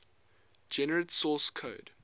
generate source code